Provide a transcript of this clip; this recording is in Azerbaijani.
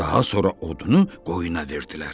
Daha sonra odunu qoyuna verdilər.